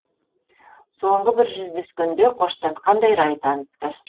соңғы бір жүздескенде қоштасқандай рай танытты